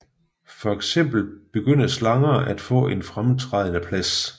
Fx begynder slanger at få en fremtrædende plads